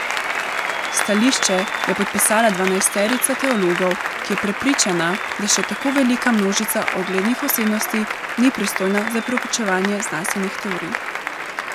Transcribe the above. Stališče je podpisala dvanajsterica teologov, ki je prepričana, da še tako velika množica uglednih osebnosti ni pristojna za preučevanje znanstvenih teorij.